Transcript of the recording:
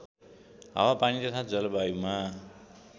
हावापानी तथा जलवायुमा